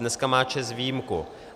Dneska má ČEZ výjimku.